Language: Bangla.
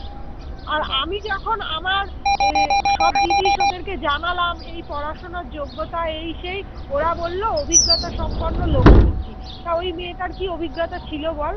এখন আমার সব জিনিস ওদের কে জানালাম এই পড়াশোনার যোগ্যতা এই সেই ওরা বলল অভিজ্ঞতা সম্পন্ন লোক খুঁজছি। তো মেয়েটার কি অভিজ্ঞতা ছিল বল